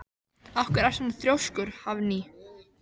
Af hverju ertu svona þrjóskur, Hafný?